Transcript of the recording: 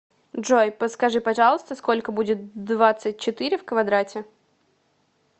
джой подскажи пожалуйста сколько будет двадцать четыре в квадрате